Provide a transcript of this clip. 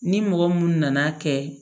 Ni mɔgɔ mun nana kɛ